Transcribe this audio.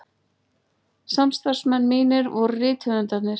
Samstarfsmenn mínir voru rithöfundarnir